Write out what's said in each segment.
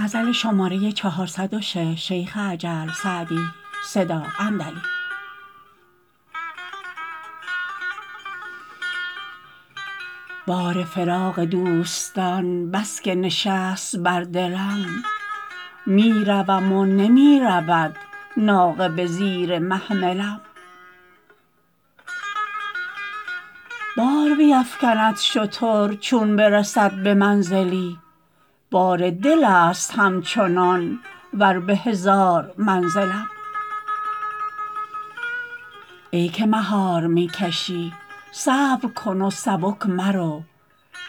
بار فراق دوستان بس که نشست بر دلم می روم و نمی رود ناقه به زیر محملم بار بیفکند شتر چون برسد به منزلی بار دل است همچنان ور به هزار منزلم ای که مهار می کشی صبر کن و سبک مرو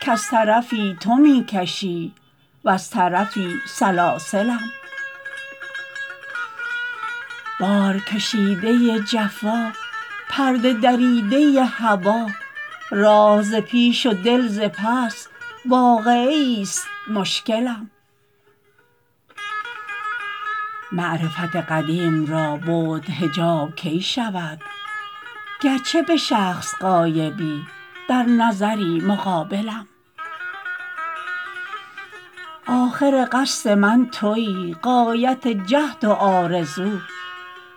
کز طرفی تو می کشی وز طرفی سلاسلم بارکشیده ی جفا پرده دریده ی هوا راه ز پیش و دل ز پس واقعه ایست مشکلم معرفت قدیم را بعد حجاب کی شود گرچه به شخص غایبی در نظری مقابلم آخر قصد من تویی غایت جهد و آرزو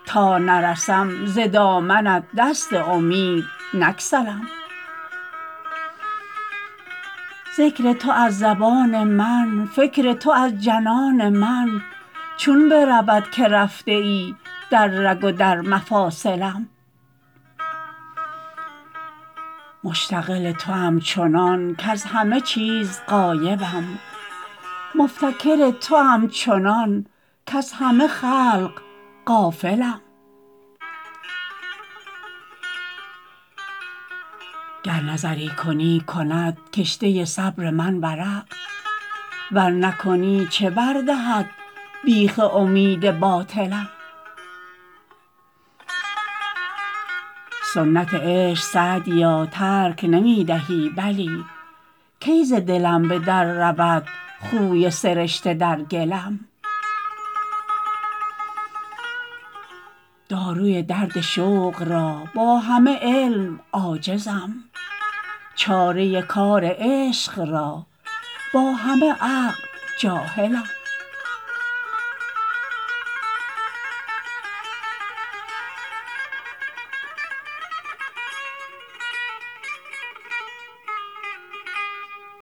تا نرسم ز دامنت دست امید نگسلم ذکر تو از زبان من فکر تو از جنان من چون برود که رفته ای در رگ و در مفاصلم مشتغل توام چنان کز همه چیز غایبم مفتکر توام چنان کز همه خلق غافلم گر نظری کنی کند کشته صبر من ورق ور نکنی چه بر دهد بیخ امید باطلم سنت عشق سعدیا ترک نمی دهی بلی کی ز دلم به در رود خوی سرشته در گلم داروی درد شوق را با همه علم عاجزم چاره کار عشق را با همه عقل جاهلم